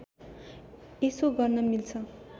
यसो गर्न मिल्छ